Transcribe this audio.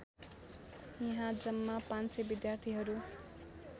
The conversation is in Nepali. यहाँ जम्मा ५०० विद्यार्थीहरू